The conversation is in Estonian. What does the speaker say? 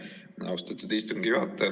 Aitäh, austatud istungi juhataja!